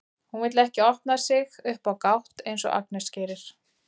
Hún vill ekki opna sig upp á gátt eins og Agnes gerir.